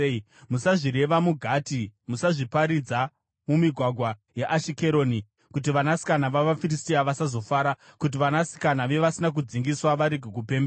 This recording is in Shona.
“Musazvireva muGati, musazviparidza mumigwagwa yeAshikeroni, kuti vanasikana vavaFiristia vasazofara, kuti vanasikana vevasina kudzingiswa varege kupembera.